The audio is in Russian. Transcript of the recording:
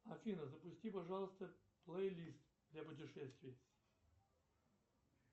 афина запусти пожалуйста плейлист для путешествий